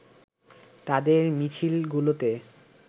তাদের মিছিলগুলোতে